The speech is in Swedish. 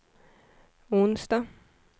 onsdag